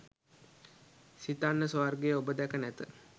සිතන්න ස්වර්ගය ඔබ දැක නැත.